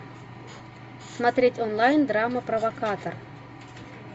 смотреть онлайн драма провокатор